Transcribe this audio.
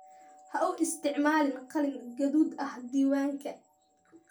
Ha u isticmaalin qalin gaduud ah diiwaanka.